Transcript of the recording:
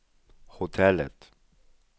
hotellet